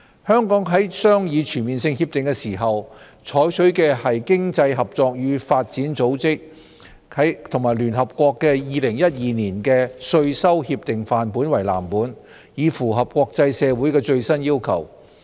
香港在商議全面性協定時，採取經濟合作與發展組織及聯合國2012年的稅收協定範本為藍本，以符合國際社會的最新要求。